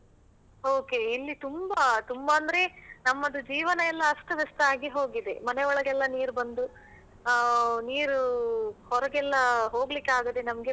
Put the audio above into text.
Okay . ಇಲ್ಲಿ ತುಂಬಾ ತುಂಬಾ ಅಂದ್ರೆ ನಮ್ಮದು ಜೀವನ ಎಲ್ಲ ಅಸ್ತವ್ಯಸ್ತ ಆಗಿ ಹೋಗಿದೆ. ಮನೆ ಒಳಗೆಲ್ಲ ನೀರು ಬಂದು ಆಹ್ ನೀರು ಹೊರಗೆಲ್ಲ ಹೋಗ್ಲಿಕ್ಕೆ ಆಗದೆ ನಮ್ಗೆ